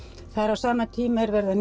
á sama tíma er verið að